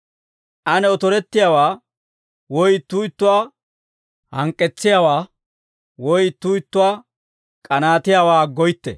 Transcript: Ane otorettiyaawaa, woy ittuu ittuwaa hank'k'etsiyaawaa, woy ittuu ittuwaa k'anaatiyaawaa aggoytte.